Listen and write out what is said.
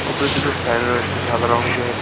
ওপরে দুটো ফ্যান রয়েছে সাদা রংয়ের।